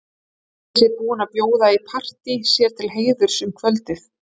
Gutti sé búinn að bjóða í partí sér til heiðurs um kvöldið.